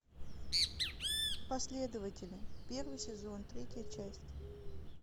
последователи первый сезон третья часть